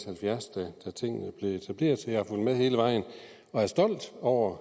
halvfjerds da tingene blev etableret så jeg har fulgt med hele vejen og er stolt over